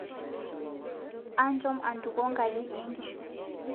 Anjom antuko nkaji ee nkishu